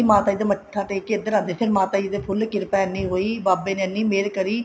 ਮਾਤਾ ਜੀ ਦਾ ਮੱਥਾ ਟੇਕ ਕੇ ਇੱਧਰ ਆਉਂਦੇ ਸੀ ਮਾਤਾ ਜੀ ਦੀ ਫੁੱਲ ਕਿਰਪਾ ਇੰਨੀ ਹੋਈ ਬਾਬੇ ਨੇ ਇੰਨੀ ਮਹਿਰ ਕਰੀ